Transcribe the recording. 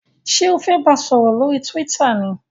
ṣe o fè bá sòrò lórí twitter ní?